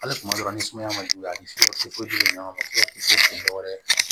Hali kuma dɔw la ni sumaya ma juguya ni kojugu ɲɔgɔn ma kisi dɔw wɛrɛ